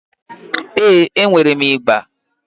Ee, enwere m ịgbà.